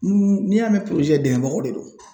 N'i y'a mɛn dɛmɛbagaw de do.